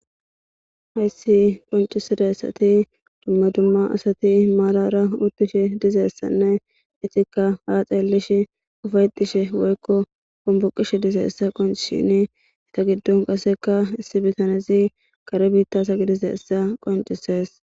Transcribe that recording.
hayssi qoncisidassati dumma dumma asati maalara uttish dizeessanne itikka ha xeelish ufaydishe woykko kombuqish dizeessa qonc shini ita giddon kaseka issi bitanezi kare biittasa gidizessa qoncisees